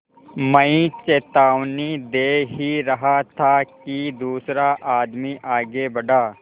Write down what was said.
मैं चेतावनी दे ही रहा था कि दूसरा आदमी आगे बढ़ा